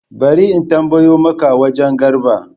Bari in tambayo maka wagen Garba